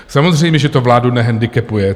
Samozřejmě že to vládu nehendikepuje.